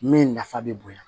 Min nafa bɛ bonya